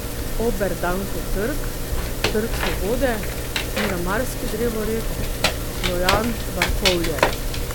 Oberdankov trg, Trg svobode, Miramarski drevored, Rojan, Barkovlje.